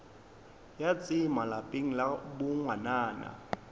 ya tsema lapeng la bongwanana